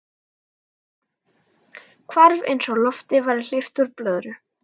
Hvarf eins og lofti væri hleypt úr blöðru.